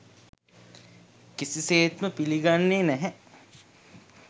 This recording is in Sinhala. කිසිසේත්ම පිළිගන්නේ නැහැ.